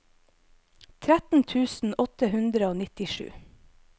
tretten tusen åtte hundre og nittisju